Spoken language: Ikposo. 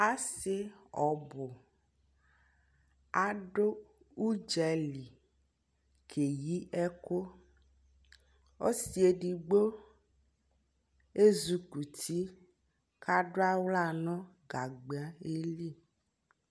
asii ɔbʋ adʋ ʋdzali kɛyi ɛkʋ, ɔsii ɛdigbɔ ɛzukʋti kʋ adʋ ala nʋgagba li